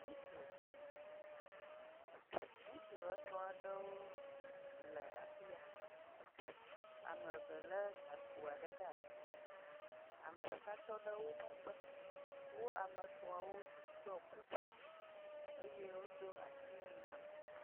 Ŋutsu etɔ̃ aɖewo le afi ya, ame eve lé gakpo aɖe ɖe asi, ame ɖeka tɔ ɖe wo megbe, wo ame etɔ̃awo ɖɔ kuku eye wodo asiwui hã.